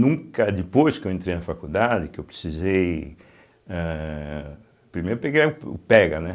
Nunca depois que eu entrei na faculdade, que eu precisei eeh primeiro peguei é o pega, né?